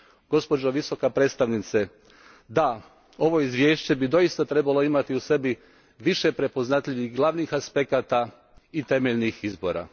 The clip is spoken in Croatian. Gospođo Visoka predstavnice, da, ovo izvješće bi doista trebalo imati u sebi više prepoznatljivih glavnih aspekata i temeljnih izbora.